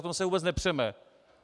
O to se vůbec nepřeme.